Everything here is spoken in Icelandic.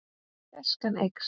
Gæskan eykst.